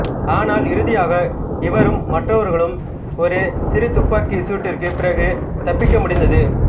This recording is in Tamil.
ஆனால் இறுதியாக இவரும் மற்றவர்களும் ஒரு சிறு துப்பாக்கிச் சூட்டிற்குப் பிறகு தப்பிக்க முடிந்தது